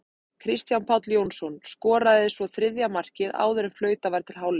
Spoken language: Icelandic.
Kristján Páll Jónsson skoraði svo þriðja markið áður en flautað var til hálfleiks.